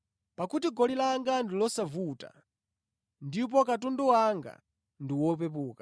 Pakuti goli langa ndi losavuta ndipo katundu wanga ndi wopepuka.”